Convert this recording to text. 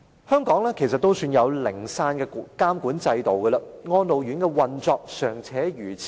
香港也算擁有零散的監管制度，但安老院舍的運作仍如此差劣。